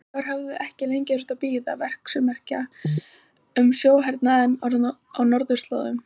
Íslendingar höfðu ekki lengi þurft að bíða verksummerkja um sjóhernaðinn á norðurslóðum.